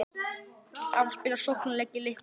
Á að spila sóknarleik í leiknum?